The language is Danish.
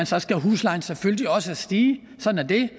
så skal huslejen selvfølgelig også stige sådan er det